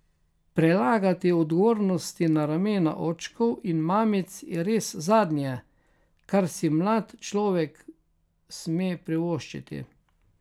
Prelagati odgovornosti na ramena očkov in mamic je res zadnje, kar si mlad človek sme privoščiti.